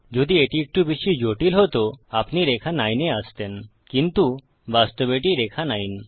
যদি এটি একটু বেশি জটিল হতো আপনি রেখা 9 এ আসতেন কিন্তু বাস্তবে এটি রেখা 9